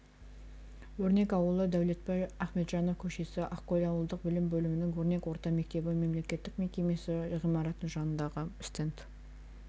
өрнек ауылы дәулетбай ахметжанов көшесі ақкөл аудандық білім бөлімінің өрнек орта мектебі мемлекеттік мекемесі ғимаратының жанындағы стенд